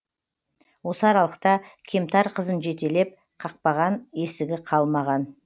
осы аралықта кемтар қызын жетелеп қақпаған есігі қалмаған